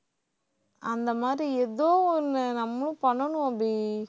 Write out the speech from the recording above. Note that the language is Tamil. அந்த மாதிரி ஏதோ ஒண்ணு நம்மளும் பண்ணணும் அபி